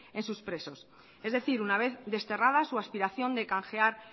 en sus presos es decir una vez desterrada su aspiración de canjear